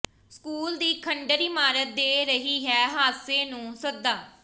school ਦੀ ਖੰਡਰ ਇਮਾਰਤ ਦੇ ਰਹੀ ਹੈ ਹਾਦਸੇ ਨੂੰ ਸੱਦਾ